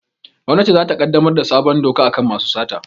Gwamnati za ta ƙaddamar da sabon doka a kan masu sata